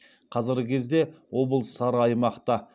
қазіргі кезде облыс сары аймақта